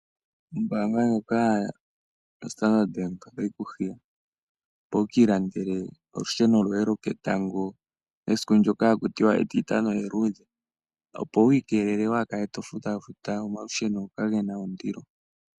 Ombaanga yoStandard bank otayi kuhiya, opo wu kiilandele olusheno lwoketango kesiku ndyoka ha kutiwa etitano eluudhe wa ha kale to futa futa olusheno ndoka luna ondilo.